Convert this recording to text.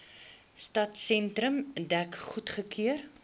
stadsentrum dek goedgekeur